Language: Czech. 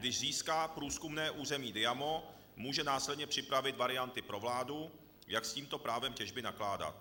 Když získá průzkumné území Diamo, může následně připravit varianty pro vládu, jak s tímto právem těžby nakládat.